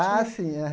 Ah, sim.